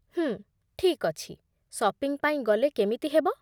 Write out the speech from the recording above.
ହୁଁ, ଠିକ୍ ଅଛି, ସପିଙ୍ଗ୍ ପାଇଁ ଗଲେ କେମିତି ହେବ?